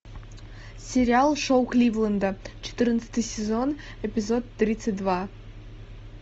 сериал шоу кливленда четырнадцатый сезон эпизод тридцать два